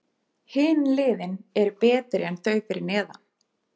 Hin liðin eru betri en þau fyrir neðan.